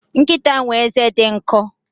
Nkita na eze di nko